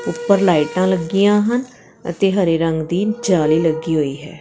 ਉੱਪਰ ਲਾਈਟਾਂ ਲੱਗੀਆਂ ਹਨ ਅਤੇ ਹਰੇ ਰੰਗ ਦੀ ਜਾਲੀ ਲੱਗੀ ਹੋਈ ਹੈ।